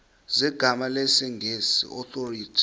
zegama lesngesn authorit